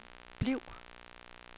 bliv